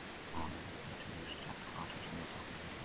Skagamenn lifnuðu til lífsins eftir brottvísunina og tóku yfirhöndina.